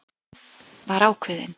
Afi var ákveðinn.